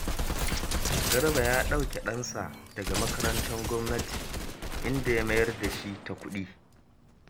Garba ya ɗauke ɗansa daga makarantar gwamnati, inda ya mayar da shi ta kuɗi